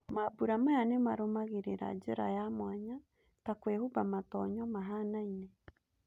Mambũra maya nĩmarũmagĩriraa njĩra ya mwanya ta kwĩhumba matonyo mahanaine.